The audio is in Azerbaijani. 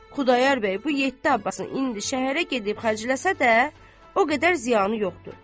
Xudayar bəy bu yeddi Abbasın indi şəhərə gedib xərcləsə də, o qədər ziyanı yoxdur.